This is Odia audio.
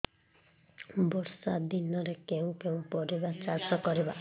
ବର୍ଷା ଦିନରେ କେଉଁ କେଉଁ ପରିବା ଚାଷ କରିବା